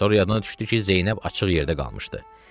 Sonra yadına düşdü ki, Zeynəb açıq yerdə qalmışdı.